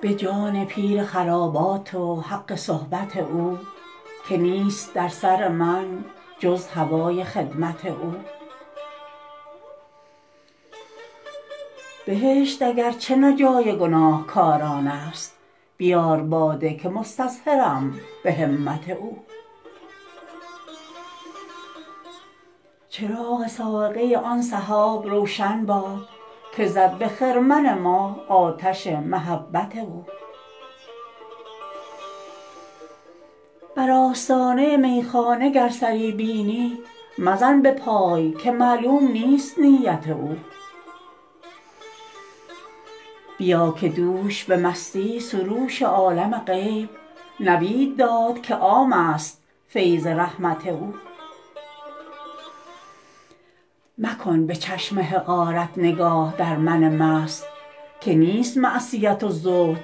به جان پیر خرابات و حق صحبت او که نیست در سر من جز هوای خدمت او بهشت اگر چه نه جای گناهکاران است بیار باده که مستظهرم به همت او چراغ صاعقه آن سحاب روشن باد که زد به خرمن ما آتش محبت او بر آستانه میخانه گر سری بینی مزن به پای که معلوم نیست نیت او بیا که دوش به مستی سروش عالم غیب نوید داد که عام است فیض رحمت او مکن به چشم حقارت نگاه در من مست که نیست معصیت و زهد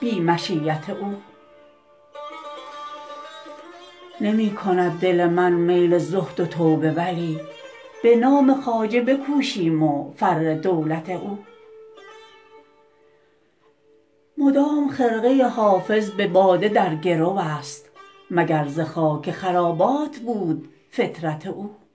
بی مشیت او نمی کند دل من میل زهد و توبه ولی به نام خواجه بکوشیم و فر دولت او مدام خرقه حافظ به باده در گرو است مگر ز خاک خرابات بود فطرت او